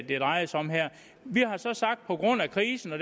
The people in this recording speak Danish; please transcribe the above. det drejer sig om her vi har så sagt at på grund af krisen og